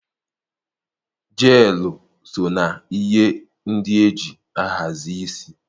Jeelụ so na ihe ndị e ji ahazi isi